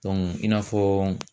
i n'a fɔɔ